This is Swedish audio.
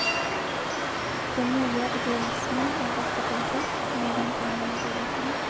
Den nya idealismen har gått i konkurs medan pengarna rullat in.